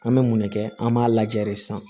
An bɛ mun ne kɛ an b'a lajɛ de sisan